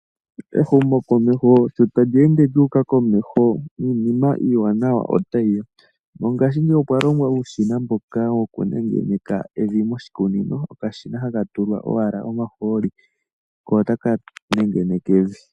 Ehumo komeho shi talyeende lyuuka komeho niinima iiwanawa ota yiya, mongaashi ngeyi okwalongwa uushina mboka woku nengeneka evi moshikunino. Okashina haka ohaka tulwa owala omahooli ko otakatameke oku nengeneka evi.